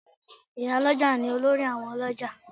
Ì̀yálọ́jà ni olórí àwọn ọlọ́jà